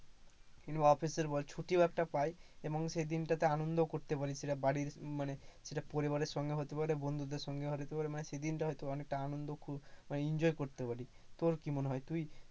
কিংবা office এর বল ছুটিও একটা পাই, এবং সেই দিনটাতে আনন্দও করতে পারি সেটা বাড়ির মানে পরিবারের সঙ্গে হতে পারে, বন্ধুদের সঙ্গেও হতে পারে মানে সেই দিনটা হয়তো অনেকটা আনন্দ খু enjoy করতে পারি। তোর কি মনে হয় তুই